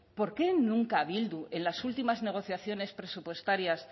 por qué nunca bildu en las últimas negociaciones presupuestarias